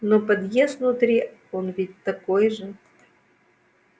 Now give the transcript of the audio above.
но подъезд внутри он ведь такой же